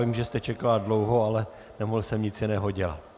Vím, že jste čekala dlouho, ale nemohl jsem nic jiného dělat.